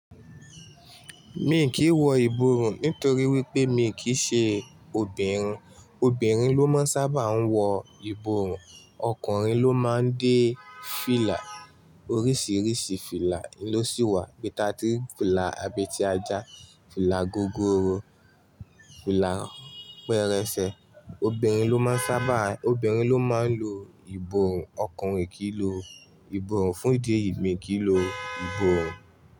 Mi kìí wọ ìborùn nítorí wípé mi kì í ṣe obìnrin. Obìnrin ló máa ń sábà wọ ìborùn, ọkùnrin ló máa ń dé fìlà. Oríṣiríṣi fìlà ló sì wà bí i tatirí fìlà abẹ ti ajá, fìlà gógóró, fìlà pẹrẹsẹ. Obìnrin ló máa ń sábà, obìnrin ló máa ń lo ìborùn, ọkùnrin kì í lo ìborùn. Fún ìdí èyí, mi kì í lo ìborùn.